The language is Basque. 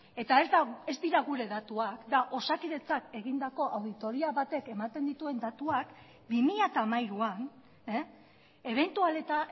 eta ez dira gure datuak da osakidetzak egindako auditoria batek ematen dituen datuak bi mila hamairuan ebentual eta